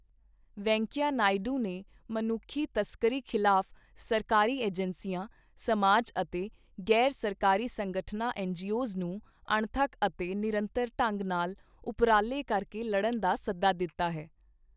ਵੈਂਕਈਆ ਨਾਇਡੂ ਨੇ ਮਨੁੱਖੀ ਤਸਕਰੀ ਖ਼ਿਲਾਫ਼ ਸਰਕਾਰੀ ਏਜੰਸੀਆਂ, ਸਮਾਜ ਅਤੇ ਗ਼ੈਰ ਸਰਕਾਰੀ ਸੰਗਠਨਾਂ ਐੱਨਜੀਓਜ਼ ਨੂੰ ਅਣਥੱਕ ਅਤੇ ਨਿਰੰਤਰ ਢੰਗ ਨਾਲ ਉਪਰਾਲੇ ਕਰਕੇ ਲੜਨ ਦਾ ਸੱਦਾ ਦਿੱਤਾ ਹੈ।